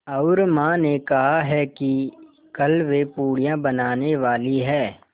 और माँ ने कहा है कि कल वे पूड़ियाँ बनाने वाली हैं